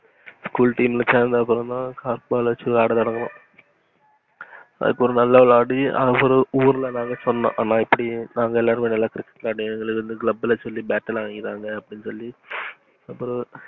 school team ல சேந்ததுக்கு அப்புறம் தான் correctball வச்சு தான் விளையாட தொடங்குனோம். அதுக்கு அப்புறம் நல்ல விளையாடி ஊருல எல்லாருக்கும் சொன்னோம், இப்புடி நாங்க எல்லாரும் cricket இந்த club ல சொல்லி bat லாம் வாங்கித்தாங்க அப்புறம்,